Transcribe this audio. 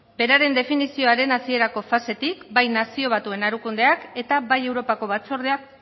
beraren definizioaren hasierako fasetik bai nazio batuen erakundeak eta bai europako batzordeak